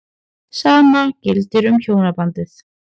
Sama gildir um hjónabandið.